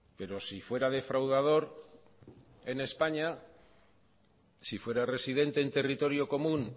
pero si fuera defraudador en españa si fuera residente en territorio común